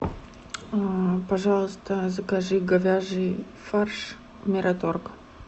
пожалуйста закажи говяжий фарш мираторг